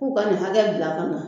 K'u ka nin hakɛ bila ka na